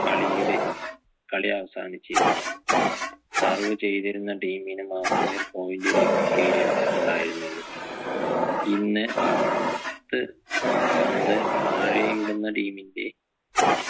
കളിയുടെ കളി അവസാനിച്ചിരുന്നത് serve ചെയ്തിരുന്ന team നു മാത്രമേ point ലഭിക്കുകയും ഉണ്ടായിരുന്നുള്ളൂ ഇന്ന് പ ത്ത് പന്ത് താഴെയിടുന്ന team ന്റെ